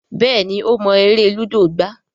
Béèni o mo èrè ludo gbà.